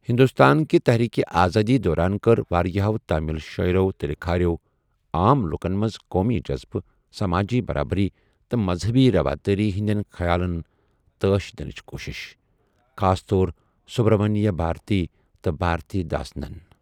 ہندوستانہِ تحریک آزادی دوران کٔر واریاہَو تامِل شاعرو تہٕ لِکھارو عام لوکَن منٛز قومی جذبہٕ، سمٲجی برابری، تہٕ مزہبی روادٲری ہندین خیالن تٲش دِنٕچہِ کوُشِش، خاص طور سبرامنیا بھاتھی تہٕ بھارتھی داسنن ۔